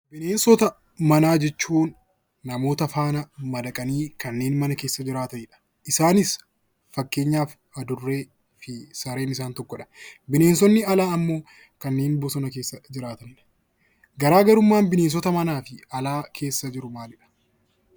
Bineensota manaa jechuun nama faana madaqanii kanneen mana keessa jiraatanidha. Isaanis fakkeenyaaf adurree fi sareentokkodha. Bineensonni alaa immoo kanneen bosona keessa jiraatanidha. Garaagarummaan bineensota alaa fi manaa maalidha?